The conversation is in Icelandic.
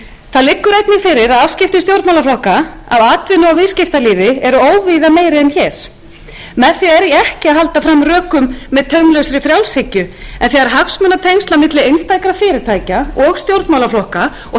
það liggur einnig fyrir að afskipti stjórnmálaflokka af atvinnu og viðskiptalífi eru óvíða meiri en hér með því er ég ekki að halda fram rökum með taumlausri frjálshyggju en þegar hagsmunatengsl á milli einstakra fyrirtækja og stjórnmálaflokka og þar undanskil ég